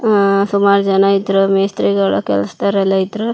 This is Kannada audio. ಅಹ್ ಸುಮಾರ್ ಜನ ಇದ್ರು ಮೇಸ್ತ್ರಿ ಗಳ ಕೆಲ್ಸ್ ದವ್ರ್ ಎಲ್ಲಾ ಇದ್ರು --